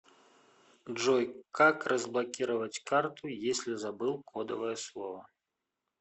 джой как разблокировать карту если забыл кодовое слово